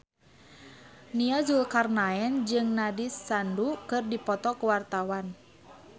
Nia Zulkarnaen jeung Nandish Sandhu keur dipoto ku wartawan